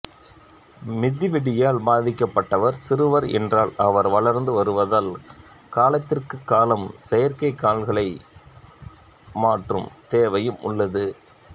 மிதிவெடியால் பாதிக்கப்பட்டவர் சிறுவர் என்றால் அவர் வளர்ந்து வருவதால் காலத்திற்குக் காலம் செயற்கைக் கால்களை மாற்றும் தேவையும் உள்ளது